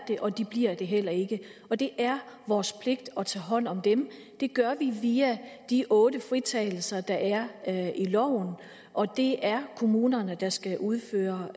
det og de bliver det heller ikke og det er vores pligt at tage hånd om dem det gør vi via de otte fritagelser der er i loven og det er kommunerne der skal udføre